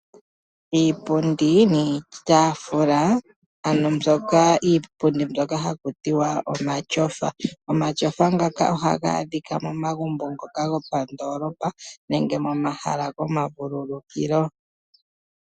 Iipundi niitaafula ano iipundi mbyoka haku tiwa omatyofa. Omatyofa ngaka ohaga adhika momagumbo ngoka gopandoolopa nenge momahala gomavululukilo.